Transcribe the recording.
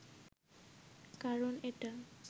কারন এটা